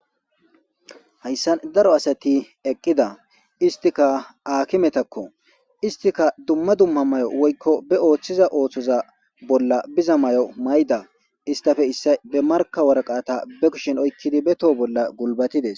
Hayssan daro asati eqqida istika aakimetakko istika dumma dumma mayo woykko be ooththiza ooththoza bolla biza mayo mayda istafe issa be marka waraqaata be kushen oykkidi be toho bolla gulbatides.